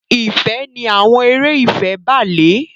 Ìfẹ ni àwọn eré ìfẹ bàlé.